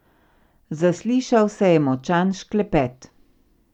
Zaslišal se je močan šklepet.